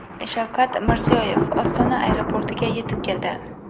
Shavkat Mirziyoyev Ostona aeroportiga yetib keldi.